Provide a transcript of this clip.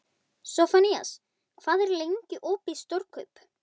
Sophanías, hvað er lengi opið í Stórkaup?